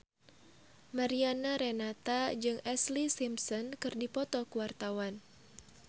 Mariana Renata jeung Ashlee Simpson keur dipoto ku wartawan